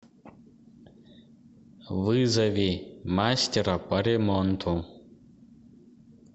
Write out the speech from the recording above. вызови мастера по ремонту